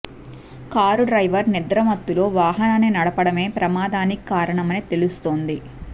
car driver నిద్ర మత్తులో వాహనాన్ని నడపడమే ప్రమాదానికి కారణమని తెలుస్తోంది